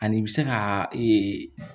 Ani i bɛ se ka ee